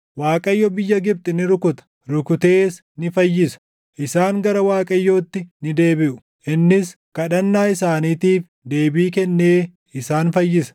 Waaqayyo biyya Gibxi ni rukuta; rukutees ni fayyisa. Isaan gara Waaqayyootti ni deebiʼu; innis kadhannaa isaaniitiif deebii kennee isaan fayyisa.